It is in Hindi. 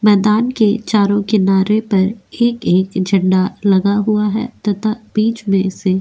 मैदान के चारों किनारे पर एक-एक झंडा लगा हुआ है तथा बीच में से --